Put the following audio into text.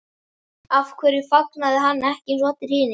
Af hverju fagnaði hann ekki eins og allir hinir?